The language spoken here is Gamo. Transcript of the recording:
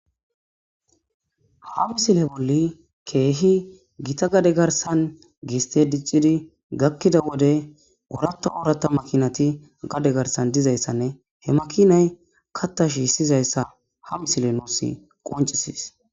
Haabisile bolli keehi gita gade garsan giiste diccidi gakkida wode oratta oorata makinati gade garsan dizayssanne he makinay katta shiissizayssa ha misile nuuss qoncisis.